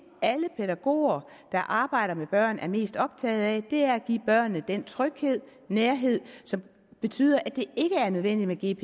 at alle pædagoger der arbejder med børn er mest optaget af er at give børnene den tryghed og nærhed som betyder at det ikke er nødvendigt